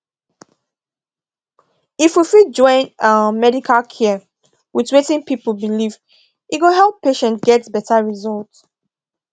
if we fit join um medical care with wetin people believe e go help patients get better result